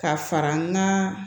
Ka fara n ka